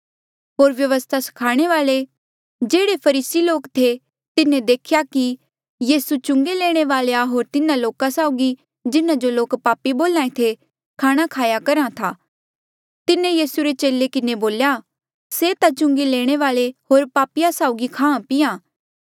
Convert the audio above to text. होर व्यवस्था स्खाणे वाल्ऐ जेह्ड़े फरीसी लोक थे तिन्हें देखेया कि यीसू चुंगी लैणे वालेया होर तिन्हा लोका साउगी जिन्हा जो लोक पापी बोल्हा ऐें थे खाणा खाया करहा था तिन्हें यीसू रे चेले किन्हें बोल्या से ता चुंगी लैणे वाल्ऐ होर पापिया साउगी खाहां पीहां